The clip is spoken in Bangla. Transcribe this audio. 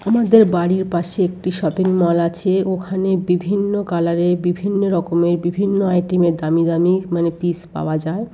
আমাদের বাড়ির পাশে একটি শপিং মল আছে ওখানে বিভিন্ন কালার এর বিভিন্ন রকমের বিভিন্ন আইটেম এর দামি দামি মানে পিস পাওয়া যায়।